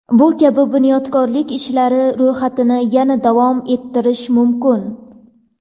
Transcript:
Bu kabi bunyodkorlik ishlari ro‘yxatini yana davom ettirish mumkin.